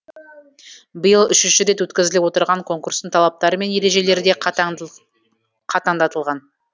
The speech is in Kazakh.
биыл үшінші рет өткізіліп отырған конкурстың талаптары мен ережелері де қатаңдатылған